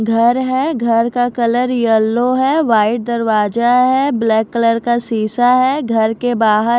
घर है घर का कलर येलो है वाइट दरवाजा है ब्लैक कलर का शीशा है घर के बहार --